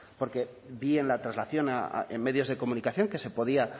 porque bien la traslación en medios de comunicación que se podía